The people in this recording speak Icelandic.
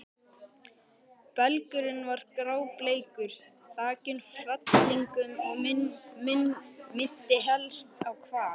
Belgurinn var grábleikur, þakinn fellingum og minnti helst á hval.